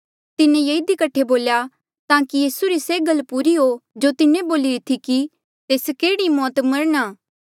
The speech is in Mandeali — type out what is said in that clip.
तिन्हें ये इधी कठे बोल्या ताकि यीसू री से गल पूरी हो जो तिन्हें बोलिरी थी कि तेस केह्ड़ी मौत मरणा